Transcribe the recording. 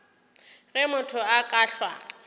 ge motho a ka hlwa